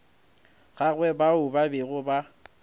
gagwe bao ba bego ba